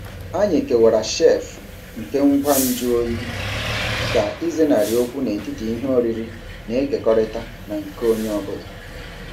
Anyị kewara shelf nke ngwa nju oyi ka ịzenarị okwu n'etiti ihe oriri na-ekekọrịta na nke onye ọ bụla.